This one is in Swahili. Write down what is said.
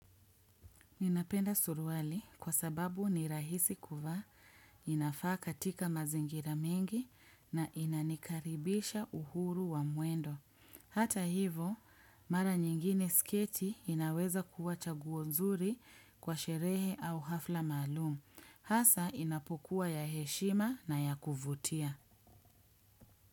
Ninapenda suruali kwa sababu ni rahisi kuvaa, inafaaka katika mazingira mengi na inanikaribisha uhuru wa mwendo. Hata hivo, mara nyingine sketi inaweza kuwa chaguo nzuri kwa sherehe au hafla maalum. Hasa inapokuwa ya heshima na ya kuvutia.